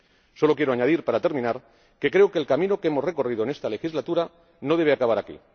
Solo quiero añadir, para terminar, que creo que el camino que hemos recorrido en esta legislatura no debe acabar aquí.